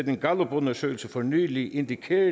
en gallupundersøgelse for nylig indikerede